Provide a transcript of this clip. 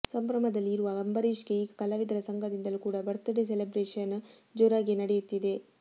ಸಂಭ್ರಮದಲ್ಲಿ ಇರುವ ಅಂಬರೀಶ್ ಗೆ ಈಗ ಕಲಾವಿದರ ಸಂಘದಿಂದಲೂ ಕೂಡ ಬರ್ತ್ ಡೇ ಸೆಲೆಬ್ರೇಷನ್ ಜೋರಾಗಿಯೇ ನಡೆಯುತ್ತಿದೆ